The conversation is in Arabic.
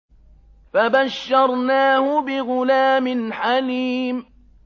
فَبَشَّرْنَاهُ بِغُلَامٍ حَلِيمٍ